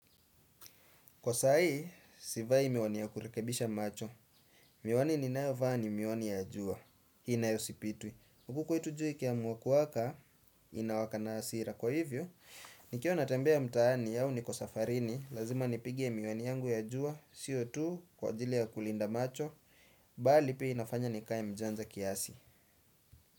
Kwa saa hii, si vai miwani ya kurekebisha macho. Miwani ninayovaa ni miwani ya jua. Hii nayo sipitwi. Huku kwetu jua ikiamua kuwaka inawaka na hasira. Kwa hivyo, nikiwa natembea mtaani au niko safarini, lazima nipige miwani yangu ya jua, siyo tu kwa ajili ya kulinda macho, mbali pia inafanya nikae mjanja kiasi.